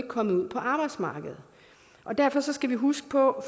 kommet ud på arbejdsmarkedet derfor skal vi huske på